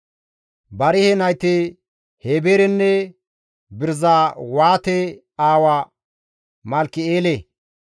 Barihe nayti Heeberenne Birizawaate aawa Malkki7eele.